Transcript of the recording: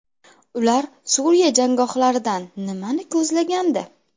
Ular Suriya janggohlaridan nimani ko‘zlagandi?